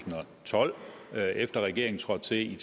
og tolv efter at regeringen trådte til i